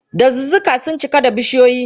Dazuzzuka sun cika da bishiyoyi.